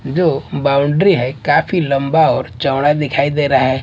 जो बाउंड्री है काफी लंबा और चौड़ा दिखाई दे रहा है।